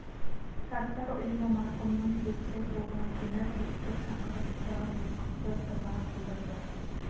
жастар ұйымы марқұмның жетісі толған күні жұртты шақырып құран оқытты дұға қылдырды